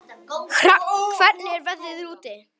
Hrafn, hvernig er veðrið úti?